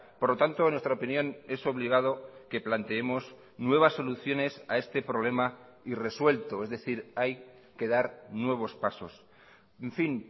por lo tanto en nuestra opinión es obligado que planteemos nuevas soluciones a este problema irresuelto es decir hay que dar nuevos pasos en fin